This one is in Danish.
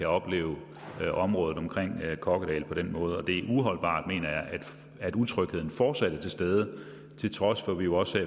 opleve området omkring kokkedal på den måde og det er uholdbart mener jeg at utrygheden fortsat er til stede til trods for at vi jo også